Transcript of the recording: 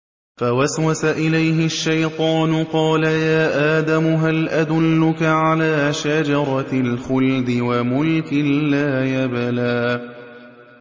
فَوَسْوَسَ إِلَيْهِ الشَّيْطَانُ قَالَ يَا آدَمُ هَلْ أَدُلُّكَ عَلَىٰ شَجَرَةِ الْخُلْدِ وَمُلْكٍ لَّا يَبْلَىٰ